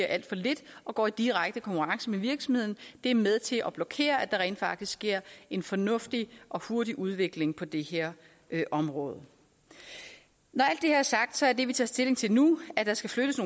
alt for lidt og går i direkte konkurrence med virksomhederne det er med til at blokere for at der rent faktisk sker en fornuftig og hurtig udvikling på det her område når alt det er sagt er det vi tager stilling til nu at der skal flyttes